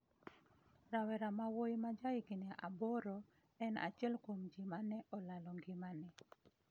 Rawera mawuoyi ma ja higni aboro en achiel kuom ji ma ne olalo ngimane